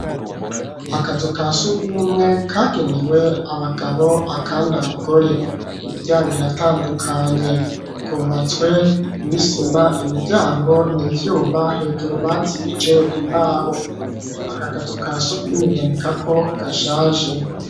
Akazu ka surwumwe, kagenewe abagabo, akandi abagore; imiryango iratandukanye, kubatswe n'isima, imiryango ni ivyuma; hejuru, bazibije imbaho; aka kazu ka surwumwe, boneka ko, gashaje.